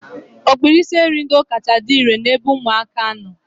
Ọkpụisieringo kachasị dị irè n'ebe ụmụaka nọ.